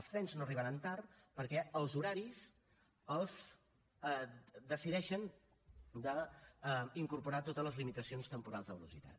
els trens no arribaran tard perquè els horaris decideixen incorporar totes les limitacions temporals de velocitat